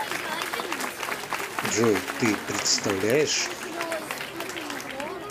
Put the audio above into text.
джой ты представляешь